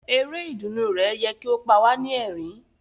Eré ìdùnnú rẹ yẹ ki o pa wa ni ẹrín.